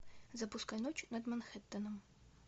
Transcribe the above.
запускай ночь над манхэттеном